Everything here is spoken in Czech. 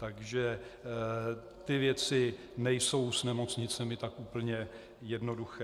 Takže ty věci nejsou s nemocnicemi tak úplně jednoduché.